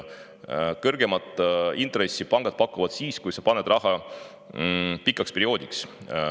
Kõrgemat intressi pakuvad pangad siis, kui sa paned raha pikaks perioodiks.